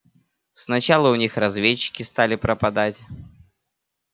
сначала у них разведчики стали пропадать